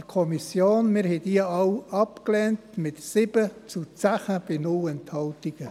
Wir lehnten sie alle, mit 7 zu 10 bei 0 Enthaltungen.